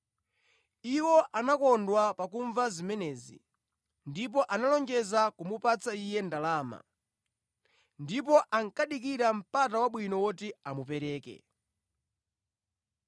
Iwo anakondwa pakumva zimenezi ndipo analonjeza kumupatsa iye ndalama. Ndipo ankadikira mpata wabwino woti amupereke.